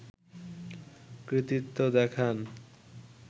কৃতিত্ব দেখান